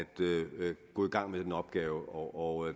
gå i gang med den opgave og